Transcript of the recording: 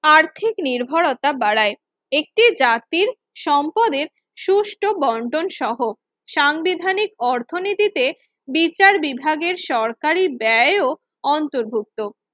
আর্থিক নির্ভরতা বাড়ায় একটি জাতির সম্পদের সুষ্ঠ বন্টন সহ সাংবিধানিক অর্থনীতিতে বিচার বিভাগের সরকারি ব্যয় ও অন্তর্ভুক্ত